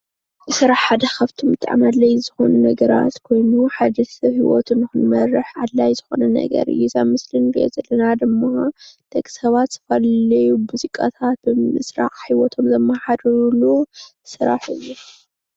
ስራሕ ካብቶም ሓደ ብጣዕሚ ኣድላይ ዝኮኑ ነገራት ኮይኑ ሓደ ሰብ ሂወቱ ክመርሕ ኣድላይ ዝኮነ ነገር እዩ፡፡ ኣብዚ ምስሊ እንሮኦ ዘለና ድማ ደቂ ሰባት ዘድልዩ ሙዚቃታት ብምስራሕ ሂወቶም ዘማሓድርሉ ስራሕ እዩ፡፡